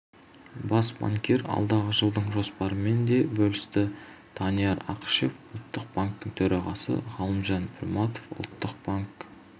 бас банкир алдағы жылдың жоспарымен де бөлісті данияр ақышев ұлттық банктің төрағасы ғалымжан пірматов ұлттық банк